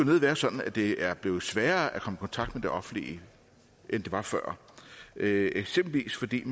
nødig være sådan at det er blevet sværere at komme i kontakt med det offentlige end det var før eksempelvis fordi